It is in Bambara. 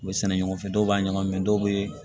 U bɛ sɛnɛ ɲɔgɔn fɛ dɔw b'a ɲagami dɔw be